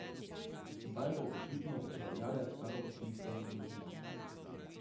Zdaj bo očitno upravljavec kar občinska družba.